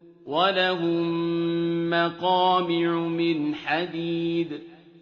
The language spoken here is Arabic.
وَلَهُم مَّقَامِعُ مِنْ حَدِيدٍ